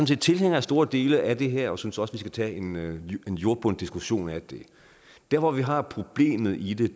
set tilhængere af store dele af det her og synes også skal tage en jordbunden diskussion af det der hvor vi har problemet i det er